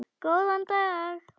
Góðan dag!